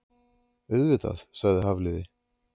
Auðvitað- sagði Hafliði.